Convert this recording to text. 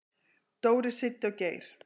"""Dóri, Siddi og Geir."""